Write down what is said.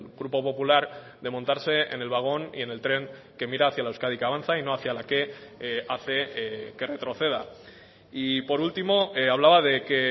grupo popular de montarse en el vagón y en el tren que mira hacia la euskadi que avanza y no hacia la que hace que retroceda y por último hablaba de que